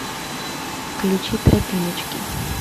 включи тропиночки